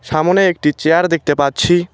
সামোনে একটি চেয়ার দেখতে পাচ্ছি।